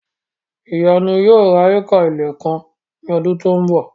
Ìyanu yóò ra éékà ilẹ̀ kan ní ọdún tí ó ń bọ̀